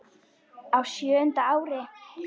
Á sjöunda ári